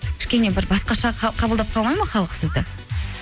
кішкене бір басқаша қабылдап қалмайды ма халық сізді